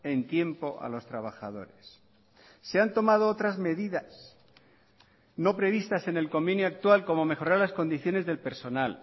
en tiempo a los trabajadores se han tomado otras medidas no previstas en el convenio actual como mejorar las condiciones del personal